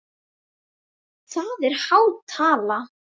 Það er há tala.